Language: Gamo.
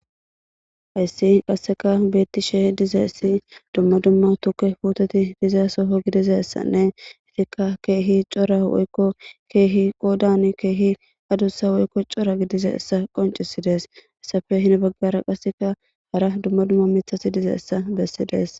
Hayssi qasseka beettishe dizayessi dumma dumma tuke puteti diza soho gidizassanne etikka keehi cora woykko keehi qoodan keehi adussa woykko cora gidizassa qoncisides. Heyssape hini baggara qasseka hara dumma dumma mithati dizayssa bessides